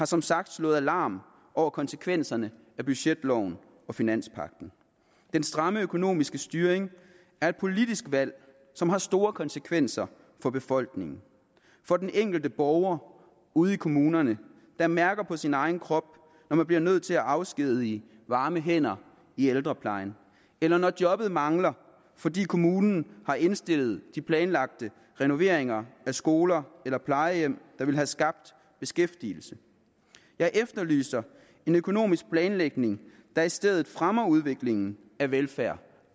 som sagt slået alarm over konsekvenserne af budgetloven og finanspagten den stramme økonomiske styring er et politisk valg som har store konsekvenser for befolkningen for den enkelte borger ude i kommunerne der mærker det på sin egen krop når man bliver nødt til at afskedige varme hænder i ældreplejen eller når jobbet mangler fordi kommunen har indstillet de planlagte renoveringer af skoler eller plejehjem der ville have skabt beskæftigelse jeg efterlyser en økonomisk planlægning der i stedet fremmer udviklingen af velfærd